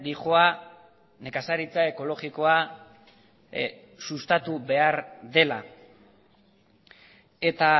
doa nekazaritza ekologikoa sustatu behar dela eta